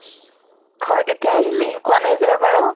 ঘৰ কেতিয়া আহিলি, কোৱা নাই যে এবাৰো?